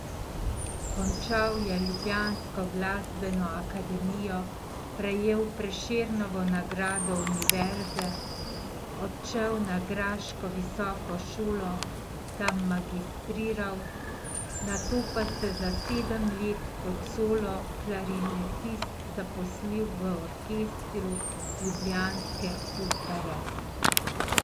Končal je ljubljansko glasbeno akademijo, prejel Prešernovo nagrado univerze, odšel na graško visoko šolo, tam magistriral, nato pa se za sedem let kot solo klarinetist zaposlil v orkestru ljubljanske Opere.